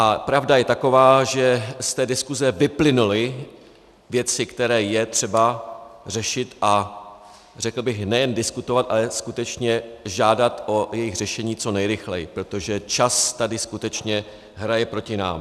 A pravda je taková, že z té diskuse vyplynuly věci, které je třeba řešit a řekl bych nejen diskutovat, ale skutečně žádat o jejich řešení co nejrychleji, protože čas tady skutečně hraje proti nám.